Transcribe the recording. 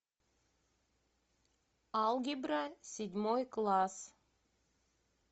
алгебра седьмой класс